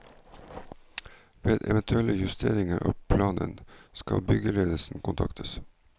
Ved eventuelle justeringer av planen, skal byggeledelsen kontaktes.